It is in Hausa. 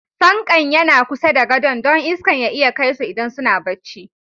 Fanƙan yana kusa da godo'n, don iskan ya iya kai su idan suna bacci.